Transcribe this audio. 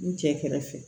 N cɛ kɛrɛfɛ